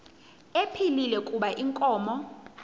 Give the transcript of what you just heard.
ephilile kuba inkomo